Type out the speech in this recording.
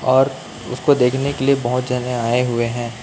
और उसको देखने के लिए बहुत जाने आए हुए हैं।